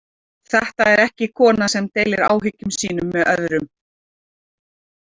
Þetta er ekki kona sem deilir áhyggjum sínum með öðrum.